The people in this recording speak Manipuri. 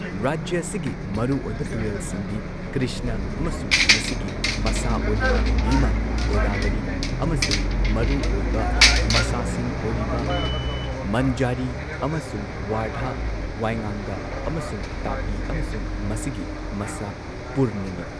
ꯔꯥꯖ꯭ꯌ ꯑꯁꯤꯒꯤ ꯃꯔꯨꯑꯣꯏꯕ ꯇꯨꯔꯦꯜꯁꯤꯡꯗꯤ ꯀ꯭ꯔꯤꯁꯅ, ꯑꯃꯁꯨꯡ ꯃꯁꯤꯒꯤ ꯃꯁꯥ ꯑꯣꯏꯔꯤꯕ ꯚꯤꯃꯥ, ꯒꯣꯗꯥꯕꯔꯤ, ꯑꯃꯁꯨꯡ ꯃꯔꯨꯑꯣꯏꯕ ꯃꯁꯥꯁꯤꯡ ꯑꯣꯏꯔꯤꯕ ꯃꯟꯖꯥꯔꯤ, ꯑꯃꯁꯨꯡ ꯋꯥꯔꯙꯥ ꯋꯥꯏꯉꯥꯡꯒꯥ, ꯑꯃꯁꯨꯡ ꯇꯥꯄꯤ, ꯑꯃꯁꯨꯡ ꯃꯁꯤꯒꯤ ꯃꯁꯥ ꯄꯨꯔꯅꯥꯅꯤ꯫